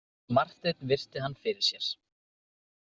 Marteinn virti hann fyrir sér.